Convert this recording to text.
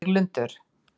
Víglundur